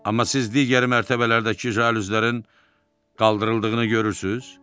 Amma siz digər mərtəbələrdəki jaluzlərin qaldırıldığını görürsüz?